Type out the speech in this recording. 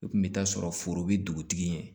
I kun bɛ taa sɔrɔ foro be dugutigi ye